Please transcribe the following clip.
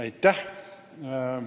Aitäh!